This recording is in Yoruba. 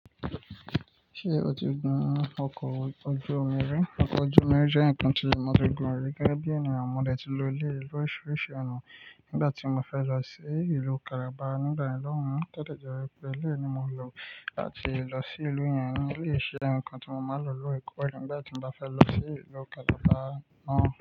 Ṣé o ti gun ọkọ̀ ojú omi rí? Ọkọ ojú omi jẹ́ ǹkan tí mo ti gun rí gẹ́gẹ́ bí ènìyàn. Mo dẹ̀ ti lo eleyii l'orisirisi ọ̀nà nígbà tí mo fẹ́ lọ sí ìlú Calabar. Nígbà yen lohun, to de jẹ́ wípé eleyii ni mo lò láti lọ sí ìlú yẹn. Eleyii se ǹkan tí mo máa ń lò lóòrè koore nígbà tí mo ba fẹ́ lọ sí ìlú Calabar náà.